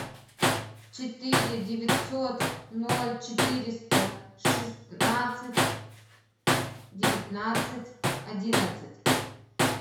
четыре девятьсот ноль четыреста шестнадцать девятнадцать одиннадцать